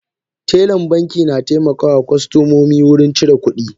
Telan banki na taimakawa kostomomi wurin cire kudi.